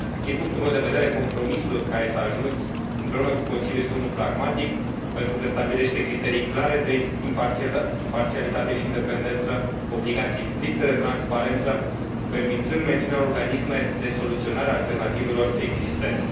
Din punctul meu de vedere, compromisul la care s a ajuns împreună cu Consiliul este unul pragmatic, pentru că stabilește criterii clare de imparțialitate și independență, obligații stricte de transparență, permițând menținerea organismelor de soluționare alternativă existente.